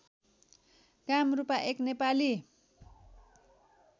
कामरूपा एक नेपाली